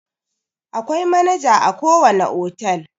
Akwai manaja a ko wane otal.